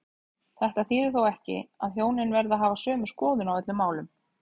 Þetta þýðir þó ekki að hjónin verði að hafa sömu skoðun á öllum málum.